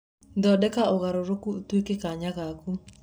Thondeka ũgarũrũku ũtuĩke kanya gaku.